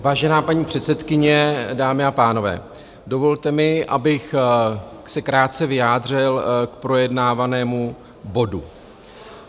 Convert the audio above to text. Vážená paní předsedkyně, dámy a pánové, dovolte mi, abych se krátce vyjádřil k projednávanému bodu.